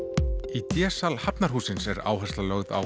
í d sal Hafnarhússins er áhersla lögð á